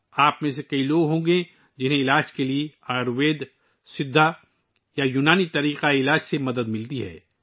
آپ میں سے بہت سے لوگ ایسے ہوں گے، جو علاج کے لیے آیوروید، سدھا یا یونانی طب کے نظام سے مدد حاصل کرتے ہیں